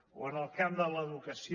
o en el camp de l’educació